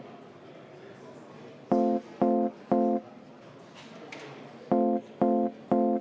Aitäh!